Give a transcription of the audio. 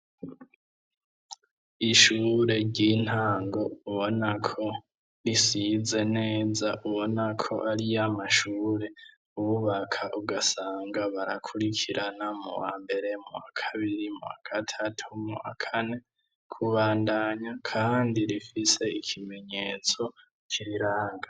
Ikigo c'ishure ry' intango har' inzu ndend' ifis' amadirisha n' imiryango bisiz' irangi ry'ubururu risakajwe n' amabat'asa n' icatsi kibisi n' ayatukura hamwe na yera, imbere y' inyubako har' ikibuga kirimw' umusenyi n'utubuye, haratose hasa nkaho hahejeje kugw' imvura, inyuma habonek' agace k' imisozi miremir' irimw' ibiti vyinshi.